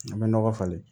A bɛ nɔgɔ falen